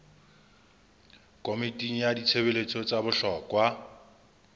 komiting ya ditshebeletso tsa bohlokwa